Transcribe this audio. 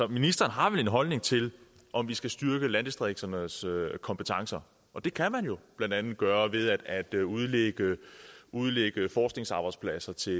ministeren har vel en holdning til om vi skal styrke landdistrikternes kompetencer og det kan man jo blandt andet gøre ved at at udlægge udlægge forskningsarbejdspladser til